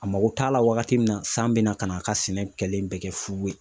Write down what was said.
A mako t'a la wagati min na san bɛna ka n'a ka sɛnɛ kɛlen bɛ kɛ fu ye